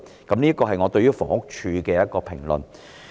這是我對房屋署的評論。